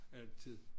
Altid